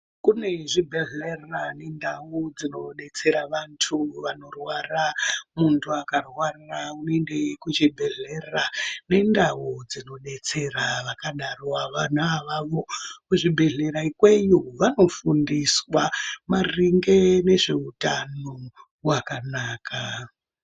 Kune zvibhendlera nendau dzinodetsera antu vanorwara. Muntu akarwara unoenda kuchibhendlera nendau dzinodetsera vakadaro vona avavo. Kuzvibhendlera ikweyo vanofundiswa maringe nezveutano hwakanaka.